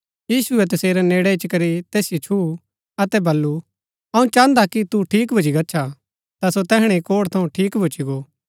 यीशुऐ तसेरै नेड़ै इच्ची करी तैसिओ छुऊँ अतै बल्लू अऊँ चाहन्दा कि तू ठीक भूच्ची गच्छा ता सो तैहणै ही कोढ़ थऊँ ठीक भूच्ची गो